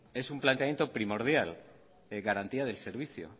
es un planteamiento primordial de garantía del servicio